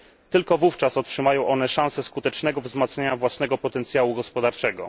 Tylko wówczas otrzymają one szansę skutecznego wzmacniania własnego potencjału gospodarczego.